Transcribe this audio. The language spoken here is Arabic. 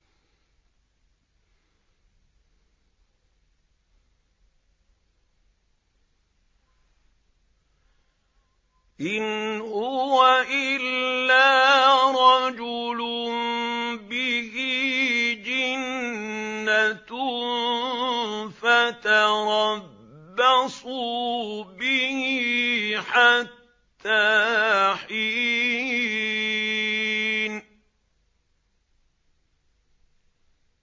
إِنْ هُوَ إِلَّا رَجُلٌ بِهِ جِنَّةٌ فَتَرَبَّصُوا بِهِ حَتَّىٰ حِينٍ